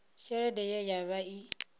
tshelede ye ya vha i